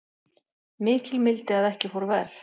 Mikil mildi að ekki fór verr